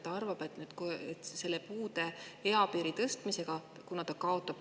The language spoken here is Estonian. Ta arvab, et puudega eapiiri tõstmise tõttu ta kaotab.